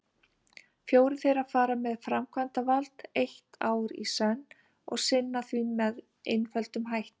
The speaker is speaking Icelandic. Fjórir þeirra fara með framkvæmdavald eitt ár í senn og sinna því með einföldum hætti.